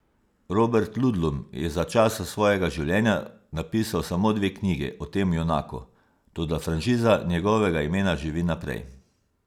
Robert Ludlum je za časa svojega življenja napisal samo dve knjigi o tem junaku, toda franšiza njegovega imena živi naprej.